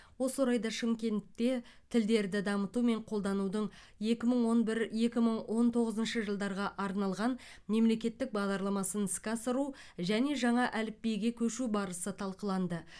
осы орайда шымкентте тілдерді дамыту мен қолданудың екі мың он бір екі мың он тоғызыншы жылдарға арналған мемлекеттік бағдарламасын іске асыру және жаңа әліпбиге көшу барысы талқыланды